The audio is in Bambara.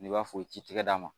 N'i b'a fɔ i t'i tɛgɛ d'a ma